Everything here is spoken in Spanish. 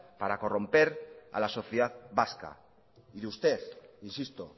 para corromper a la sociedad vasca y usted insisto